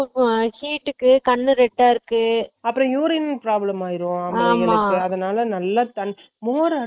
heat க்கு கண்ணு red அ இருக்கு அப்பறோம் urine problem ஆய்ரும் அதனால கொழந்தைங்களுக்கு தண்ணி மோர்